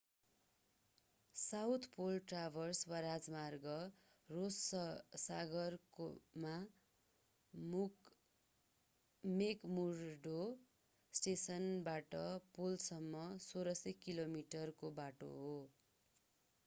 South pole traverse वा राजमार्ग Ross सागरमा मेकमुर्डो स्टेसनबाट पोलसम्म 1600 कि.मी. को बाटो हो।